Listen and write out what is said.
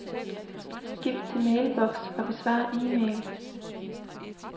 Skift til mailbox og besvar e-mail.